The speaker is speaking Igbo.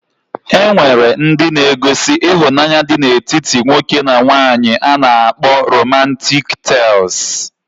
E nwere ndi nke na -egosi ihunanya dị na etiti nwoke na nwanyi a na-akpọ romantiik tels.